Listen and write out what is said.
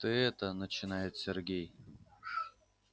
ты это начинает сергей